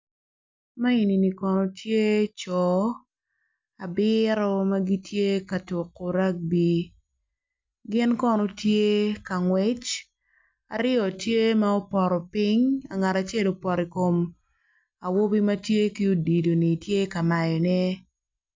A enini kono tye co abiru ma gitye ka tuku ragbi gin kono tye ka ngwec aryo tye ma opoto piny angat acel opoto i kom awobi ma tye ki odilo-ni tye ka mayone